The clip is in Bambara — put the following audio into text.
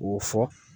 O fɔ